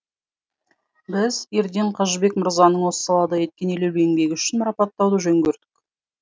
біз ерден қажыбек мырзаның осы салада еткен елеулі еңбегі үшін марапаттауды жөн көрдік